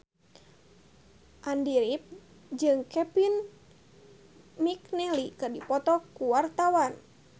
Andy rif jeung Kevin McNally keur dipoto ku wartawan